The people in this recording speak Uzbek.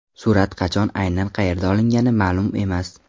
Surat qachon, aynan qayerda olingani ma’lum emas.